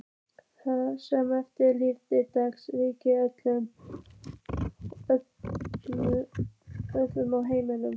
Það sem eftir lifði dags ríkti þögn á heimilinu.